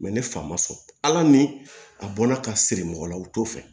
ne fa ma sɔn ala ni a bɔla ka siri mɔgɔ la u t'o fɛ